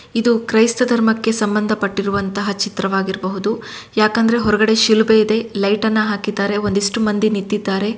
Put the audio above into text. ಇದು ಕ್ರೈಸ್ತ ಧರ್ಮಕ್ಕೆ ಸಂಬಂಧಪಟ್ಟಿರುವಂತಹ ಚಿತ್ರವಾಗಿರ್ಬಹುದು ಯಾಕಂದ್ರೆ ಹೊರಗಡೆ ಶಿಲುಬೆ ಇದೆ ಲೈಟ ನ್ನ ಹಾಕಿದ್ದಾರೆ ಒಂದಿಸ್ಟು ಮಂದಿ ನಿಂತಿದ್ದಾರೆ.